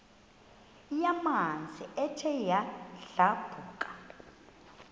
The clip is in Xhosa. yamanzi ethe yadlabhuka